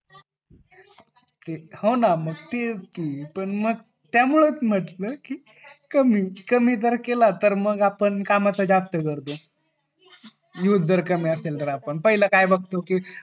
हो ना मग तेच पण मग त्या मुळे च म्हंटल कि कमी जर केला तर मग आपण कामाचा जास्त करतो यूज जर कमी असेल तर आपण पहिले काय बगतो